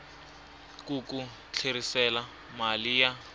ku ku tlherisela mali ya